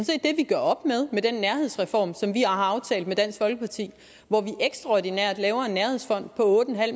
vi gør op med med den nærhedsreform som vi har aftalt med dansk folkeparti hvor vi ekstraordinært laver en nærhedsfond på otte